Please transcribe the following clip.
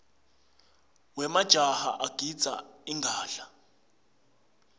wemajaha agidza ingadla